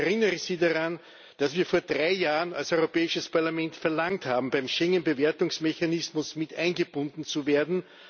Ich erinnere Sie daran, dass wir vor drei Jahren als Europäisches Parlament verlangt haben, beim Schengen Bewertungsmechanismus mit eingebunden zu werden.